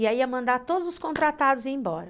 E aí ia mandar todos os contratados ir embora.